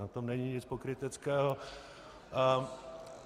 Na tom není nic pokryteckého.